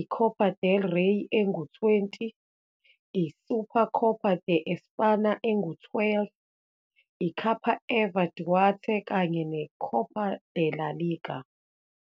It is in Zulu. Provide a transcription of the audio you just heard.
i-Copa del Rey engu-20, i-Supercopa de España engu-12, i-Capa Eva Duarte, kanye ne-Copa de la Liga.